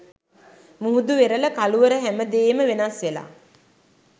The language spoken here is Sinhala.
මුහුදු වෙරළ කළුවර හැමදේම වෙනස් වෙලා